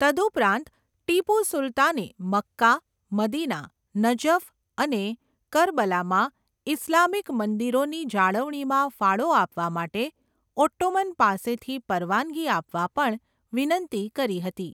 તદુપરાંત, ટીપુ સુલતાને Mecca, Medina, Najaf અને કરબલામાં ઇસ્લામિક મંદિરોની જાળવણીમાં ફાળો આપવા માટે ઓટ્ટોમન પાસેથી પરવાનગી આપવા પણ વિનંતી કરી હતી.